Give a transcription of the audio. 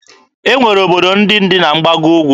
E nwere obodo ndị dị na mgbago Ugwu.